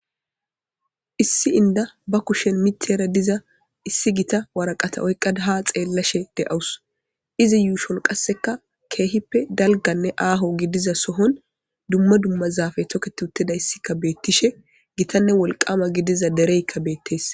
issi inda ba kushen mitera diza issi gita waraqata oyqqada ha xeellashe de7awus izi yuushon qasseka keehippe dalganne aaho gidiza sohon dumma dummazafe toketi utteda issikka beettishe gitanne wolqama gidiza dereykka beettees